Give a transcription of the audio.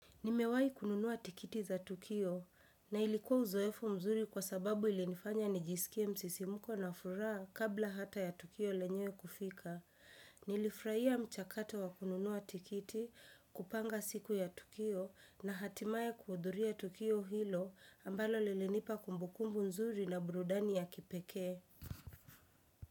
Nimewai kununuwa tikiti za tukio na ilikuwa uzoefu mzuri kwa sababu ilinifanya nijisikie msisimuko na furaha kabla hata ya tukio lenyewe kufika. Nilifurahia mchakato wa kununua tikiti kupanga siku ya tukio na hatimaye kuhudhuria tukio hilo ambalo lilinipa kumbukumbu mzuri na burudani ya kipekee.